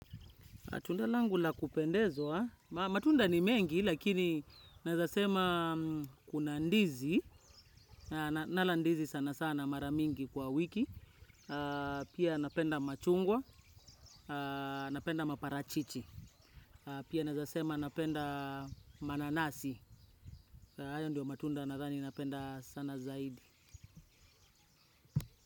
Matunda langu la kupendezwa. Matunda ni mengi, lakini naezasema kuna ndizi. Nala ndizi sana sana maramingi kwa wiki. Pia napenda machungwa, napenda maparachichi. Pia nazasema napenda mananasi. Haya ndio matunda nadhani napenda sana zaidi.